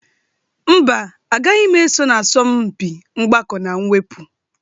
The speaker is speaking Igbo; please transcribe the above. Mba, agaghị m eso na asọmpi mgbakọ na mwepụ.